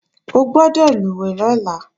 O gbọ́dọ̀ lùwẹ̀ lọ́la!